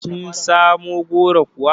Kin samu goron kuwa?